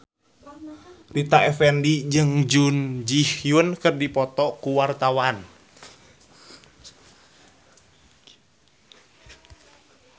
Rita Effendy jeung Jun Ji Hyun keur dipoto ku wartawan